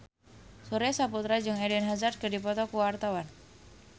Surya Saputra jeung Eden Hazard keur dipoto ku wartawan